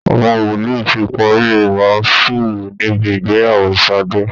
Àwọn wòlíì ti parí ìwàásù níbi ìgbeyàwó Ṣàdé